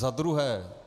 Za druhé.